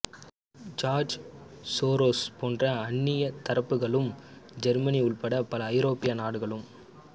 George Soros போன்ற அந்நியத் தரப்புக்களும் ஜெர்மனி உட்பட பல ஐரோப்பிய நாடுகளும்